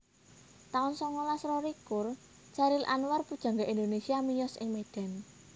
taun songolas rolikur Chairil Anwar pujangga Indonesia miyos ing Medan